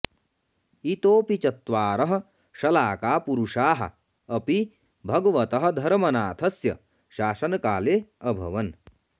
इतोऽपि चत्वारः शलाकापुरुषाः अपि भगवतः धर्मनाथस्य शासनकाले अभवन्